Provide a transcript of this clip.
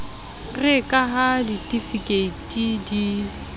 re ka ha ditifikeiti di